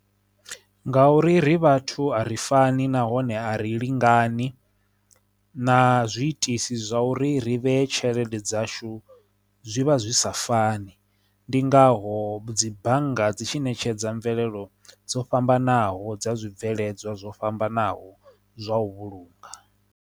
Ngauri ri vhathu a ri fani nahone a ri lingani na zwiitisi zwa uri ri vhe tshelede dzashu zwivha zwi zwi sa fani ndi ngaho dzi bannga dzi tshi ṋetshedza mvelelo dzo fhambanaho dza zwibveledzwa zwo fhambanaho zwa u vhulunga.